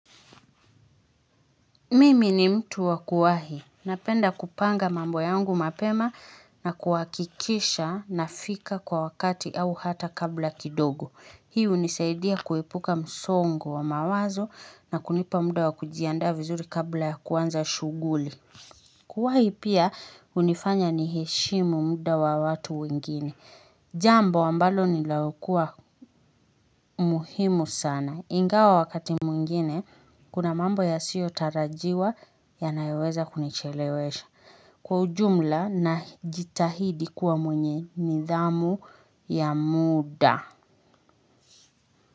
Mimi ni mtu wa kuwahi. Napenda kupanga mambo yangu mapema na kuhakikisha nafika kwa wakati au hata kabla kidogo. Hii hunisaidia kuepuka msongo wa mawazo na kunipa muda wa kujiandaa vizuri kabla ya kuanza shughuli. Kuwahi pia hunifanya niheshimu muda wa watu wengine. Jambo ambalo nilaukua muhimu sana. Ingawa wakati mwingine, kuna mambo yasiyotarajiwa yanayoweza kunichelewesha. Kwa ujumla najitahidi kuwa mwenye nidhamu ya muda.